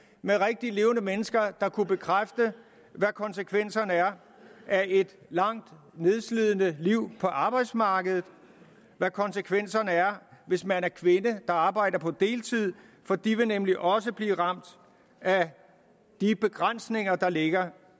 med rigtige levende mennesker der kunne bekræfte hvad konsekvenserne er af et langt nedslidende liv på arbejdsmarkedet og hvad konsekvenserne er hvis man er kvinde der arbejder på deltid for de vil nemlig også blive ramt af de begrænsninger der ligger